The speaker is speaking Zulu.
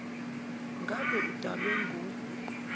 ngabe kudalwe ngu